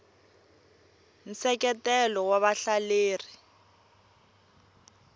nseketelo wa vahleleri